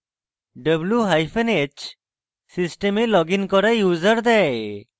w hyphen h system log in করা users দেয়